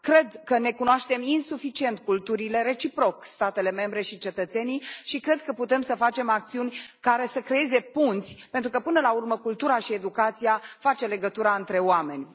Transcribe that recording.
Cred că ne cunoaștem insuficient culturile, reciproc statele membre și cetățenii, și cred că putem să facem acțiuni care să creeze punți, pentru că, până la urmă, cultura și educația fac legătura între oameni.